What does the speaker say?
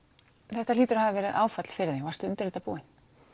þetta hlýtur að hafa verið áfall fyrir þig varstu undir þetta búin